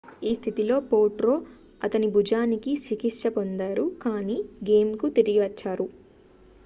ఈ స్థితిలో potro అతని భుజానికి చికిత్స పొందారు కాని గేమ్కు తిరిగి వచ్చారు